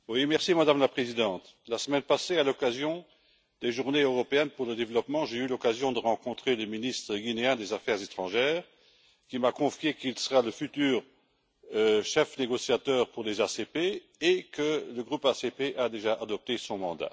Madame la Présidente, la semaine passée, à l'occasion des Journées européennes pour le développement, j'ai eu l'occasion de rencontrer le ministre guinéen des affaires étrangères, qui m'a confié qu'il sera le futur chef négociateur pour les ACP et que le groupe ACP a déjà adopté son mandat.